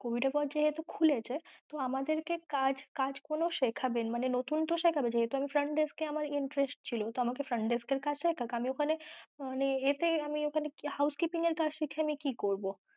Covid এর পর যেহেতু খুলেছে তো আমাদের কে কাজ কাজ গুলো তো শেখাবে, মানে নতুন তো শেখাবে যেহেতু আমার front desk এ আমার interest ছিল তো আমাকে front desk এর কাজ টা ওখানে মানে এতে আমি ঐখানে house keeping এর কাজ শিখে আমি কি করব?